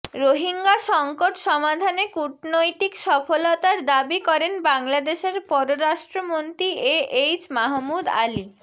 রোহিঙ্গা সংকট সমাধানে কূটনৈতিক সফলতার দাবী করেন বাংলাদেশের পররাষ্ট্রমন্ত্রী এ এইচ মাহমুদ আলি